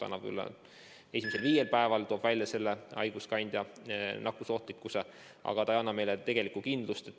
See toob välja esimesel viiel päeval haiguskandja nakkusohtlikkuse, aga ei anna meile tegelikku kindlust.